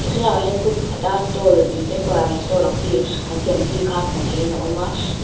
he thlalakah hian kut pakhat a stall ihh temporary stall ang chi an siam chi kha hmuh theihin a awm a ch--